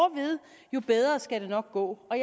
jo bedre skal det nok gå og